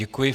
Děkuji.